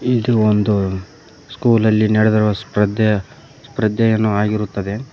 ಇದು ಒಂದು ಸ್ಕೂಲಲ್ಲಿ ನಡೆದಿರುವ ಸ್ಪ್ರದೇ ಸ್ಪ್ರದೇಯನ್ನೆ ಆಗಿರುತ್ತದೆ.